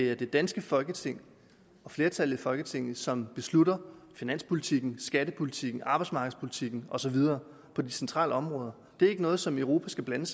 er det danske folketing flertallet i folketinget som beslutter finanspolitikken skattepolitikken arbejdsmarkedspolitikken og så videre på de centrale områder det er ikke noget som europa skal blande